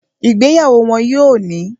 Ìgbéyàwó wọ́n yóò ní